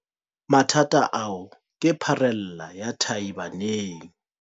Mathata ao ke pharela ya tahi baneng.